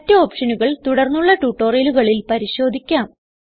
മറ്റ് ഓപ്ഷനുകൾ തുടർന്നുള്ള ട്യൂട്ടോറിയലുകളിൽ പരിശോധിക്കാം